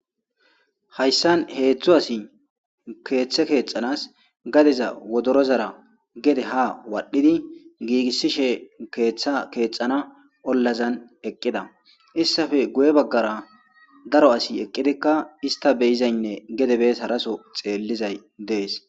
Hayssan heeththu asi keeththe keexanas gadeza wodorozara gede ha waadhdhidi giigissishe keeththa keexana ollazan eqqida issafe guye baggara daro asi eqqidikka ista beyizaynne gedebes haraso xeellizay dees